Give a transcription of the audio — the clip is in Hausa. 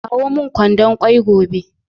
Kawo min kwandon kwai gobe